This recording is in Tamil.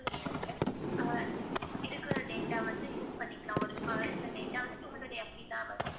ஆஹ் இருக்கற data வந்து use பன்னிக்கலாம். ஆஹ் ஒரு இந்த data வந்து two hundred MB தான் வரும்.